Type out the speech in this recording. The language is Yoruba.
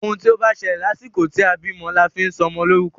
Òun tí o bá ṣẹlẹ̀ lásìkò tí a bímọ la fi sọ ọmọ lórúkọ.